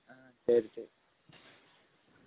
ம்ம் சரி சரி